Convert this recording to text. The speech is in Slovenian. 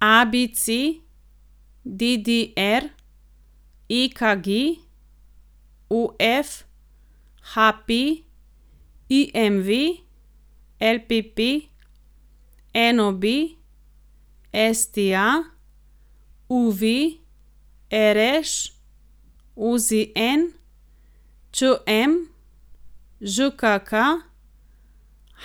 ABC, DDR, EKG, OF, HP, IMV, LPP, NOB, STA, UV, RŠ, OZN, ČM, ŽKK,